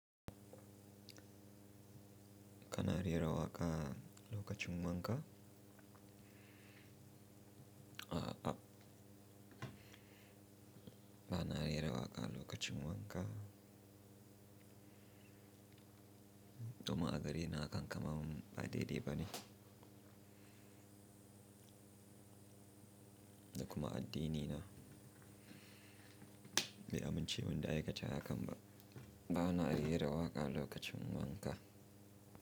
Kana rera waƙa lokacin wanka? A'a, ba na rera waƙa lokacin wanka. Domin a gare ni hakan kaman ba daidai ba ne, da kuma addinina bai amince mun da aikata hakan ba. Ba na rera waƙa lokacin wanka.